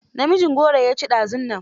Namijin gora ya ci dazunnan.